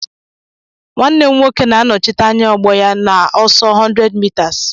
Nwanne m nwoke na-anọchite anya ogbo ya na ọsọ 100m